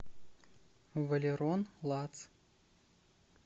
валерон лац